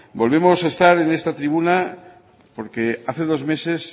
volvemos a estar en esta tribuna porque hace dos meses